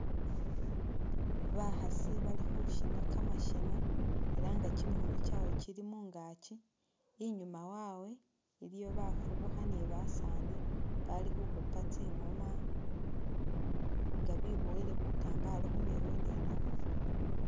Bakhasi bali khushina kamashina ela’nga kyimikhono kyawe kyili mungakyi inyuma wawe iliyo bafubukha ni basani Bali khukhupa tsingoma nga bibowele bitambalo khumirwe ninabo